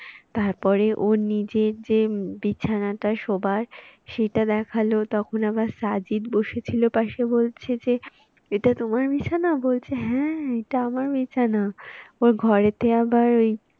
তারপরে ওর নিজের যে বিছানাটা শোবার সেইটা দেখালো, তখন আবার সাজিত বসেছিল পাশে বলছে যে এটা তোমার বিছানা? বলছে হ্যাঁ এটা আমার বিছানা ওর ঘরেতে আবার ওই,